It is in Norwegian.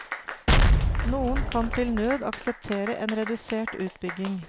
Noen kan til nød akseptere en redusert utbygging.